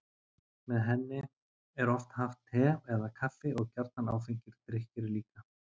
Með henni er oft haft te eða kaffi og gjarnan áfengir drykkir líka.